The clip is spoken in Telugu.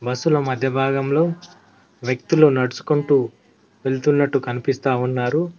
బస్సులో మధ్య భాగంలో వ్యక్తులు నడుచుకుంటూ వెళ్తున్నట్టు కనిపిస్తా ఉన్నారు.